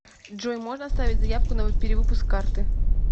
джой можно оставить заявку на перевыпуск карты